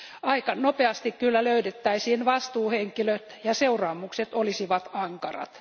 Aika nopeasti kyllä löydettäisiin vastuuhenkilöt, ja seuraamukset olisivat ankarat.